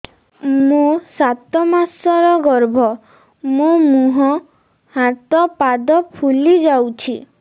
ମୋ ସାତ ମାସର ଗର୍ଭ ମୋ ମୁହଁ ହାତ ପାଦ ଫୁଲି ଯାଉଛି